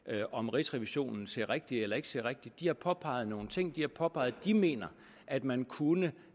om rigsrevisionen ser rigtigt eller ikke ser rigtigt de har påpeget nogle ting de har påpeget at de mener at man kunne